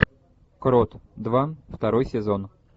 крот два второй сезон